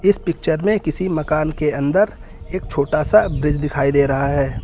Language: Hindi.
इस पिक्चर में किसी मकान के अंदर एक छोटा सा ब्रिज दिखाई दे रहा है।